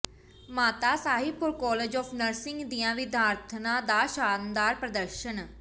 ਮਾਤਾ Sahib Kaur college of nursing ਦੀਆਂ ਵਿਦਿਆਰਥਣਾਂ ਦਾ ਸ਼ਾਨਦਾਰ ਪ੍ਰਦਰਸ਼ਨ